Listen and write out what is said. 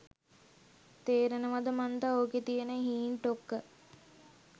තේරෙනවද මන්ද ඕකේ තියන හීන් ටොක්ක.